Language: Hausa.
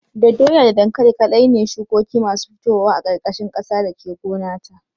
Da doya da dankali kaɗai ne shukoki masu fitowa a ƙarƙashin ƙasa da ke gona ta